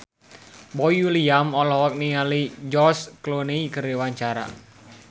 Boy William olohok ningali George Clooney keur diwawancara